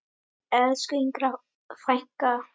Elsku Inga frænka.